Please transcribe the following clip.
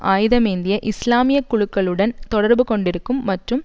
ஆயுதமேந்திய இஸ்லாமிய குழுக்களுடன் தொடர்பு கொண்டிருக்கும் மற்றும்